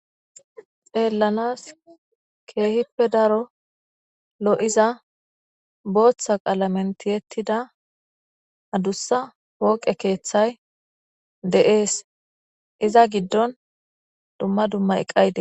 xeellanas keehippe daro lo7iza booththa qalamentiyettida hadussa pooqe keeththay de7ees iza giddon dumma dumma eqqayde